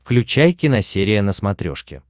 включай киносерия на смотрешке